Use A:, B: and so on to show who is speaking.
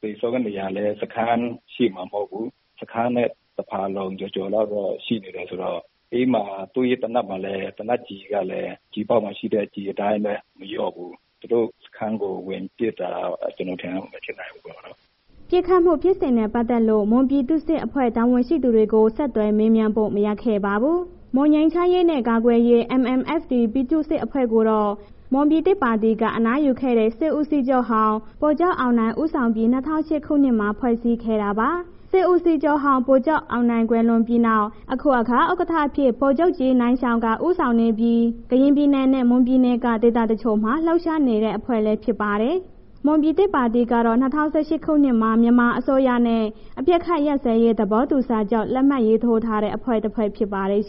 A: သေဆုံးနေရာလည်း စခန်းရှေ့မဟုတ်ဘူး၊ တစ်ခန်းနဲ့ တစ်ဖာလုံကျော်ကျော်လောက်တော့ ရှိနေတယ်ဆိုတော့ အဲ့မှာ သူ့ရဲ့ သေနတ်မှာလည်း သေနတ်ကျည်ကလည်း ကျည်အပေါက်မှာရှိတဲ့ ကျည်အတိုင်းပဲ မလျော့ဘူး။ သူတို့စခန်းကို ဝင်ပစ်တာ ကျနော်အထင်တော့ မဖြစ်နိုင်ဘူးပေါ့နော်။
B: ” ပစ်ခတ်မှု ဖြစ်စဉ်နဲ့ ပတ်သက်လို့ မွန်ပြည်သူ့စစ်အဖွဲ့ တာဝန်ရှိသူတွေကိုတော့ ဆက်သွယ်မေးမြန်းလို့ မရခဲ့ပါဘူး။ မွန်ငြိမ်းချမ်းရေးနဲ့ ကာကွယ်ရေး ပြည်သူ့စစ်အဖွဲ့ကိုတော့ မွန်ပြည်သစ်ပါတီက အနားယူခဲ့တဲ့ စစ်ဦးစီးချုပ်ဟောင်း ဗိုလ်ချုပ်အောင်နိုင် ဦးဆောင်ပြီး ၂၀၀၈ ခုနှစ်မှာ ဖွဲ့စည်းခဲ့တာပါ။ စစ်ဦးစီးချုပ်ဟောင်း ဗိုလ်ချုပ်အောင်နိုင် ကွယ်လွန်ပြီးနောက် အခုအခါ ဥက္ကဋ္ဌအဖြစ် ဗိုလ်မှူးကြီး နိုင်ရှောင်က ဦးဆောင်နေပြီး ကရင်ပြည်နယ်နဲ့ မွန်ပြည်နယ်က ဒေသတချို့မှာ လှုပ်ရှားနေတဲ့ အဖွဲ့လည်း ဖြစ်ပါတယ်။ မွန်ပြည်သစ်ပါတီကတော့ ၂၀၁၈ ခုနှစ်မှာပဲ မြန်မာအစိုးရနဲ့ အပစ်ခတ်ရပ်စဲရေး သဘောတူစာချုပ် လက်မှတ်ရေးထိုးထားတဲ့ အဖွဲ့တစ်ဖွဲ့ဖြစ်ပါတယ်။